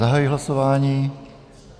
Zahajuji hlasování.